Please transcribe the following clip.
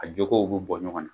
A jokow bi bɔ ɲɔgɔn na.